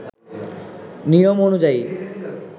নিয়ম অনুযায়ী